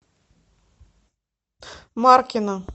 маркина